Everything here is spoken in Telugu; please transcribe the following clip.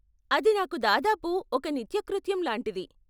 అది నాకు దాదాపు ఒక నిత్యకృత్యం లాంటిది.